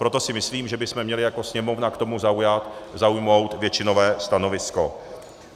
Proto si myslím, že bychom měli jako Sněmovna k tomu zaujmout většinové stanovisko.